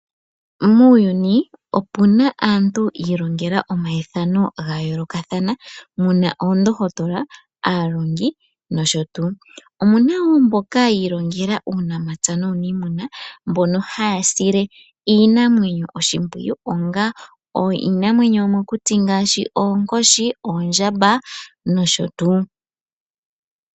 Muuyuni opu na aantu yi ilongela omayithano ga yoolokathana. Mu na oondohotola, aalongi nosho tuu. Omu na wo mboka yi ilongela uunamapya nuuniimuna mbono haya sile iinamwenyo oshimpwiyu onga iinamwenyo yomokuti ngaashi oonkoshi, oondjamba nosho tuu.